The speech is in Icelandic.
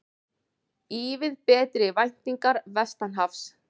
Ívið betri væntingar vestanhafs